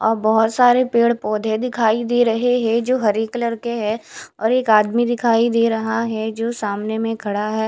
अ बहोत सारे पेड़ पौधे दिखाई दे रहे हैं जो हरे कलर के है और एक आदमी दिखाई दे रहा है जो सामने मे खड़ा है।